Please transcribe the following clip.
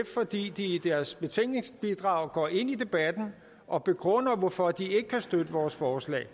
fordi de i deres betænkningsbidrag går ind i debatten og begrunder hvorfor de ikke kan støtte vores forslag